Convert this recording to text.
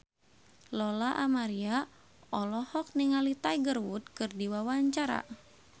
Lola Amaria olohok ningali Tiger Wood keur diwawancara